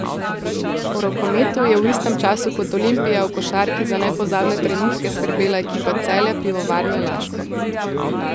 V rokometu je v istem času kot Olimpija v košarki za nepozabne trenutke skrbela ekipa Celja Pivovarne Laško.